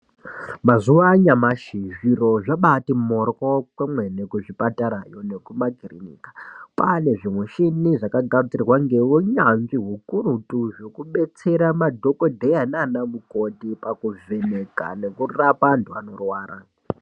Mazuva anyamashi zviro zvabati moryo kwemwene kuzvipatarayo nekumakirinika. Kwane zvimishini zvakagadzirwa ngeunyanzvi hukurutu zvekubetsera madhogodheya nana mukoti pakuvheneka nekurapa antu anorwara.